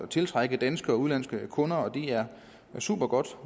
tiltrække danske og udenlandske kunder og det er supergodt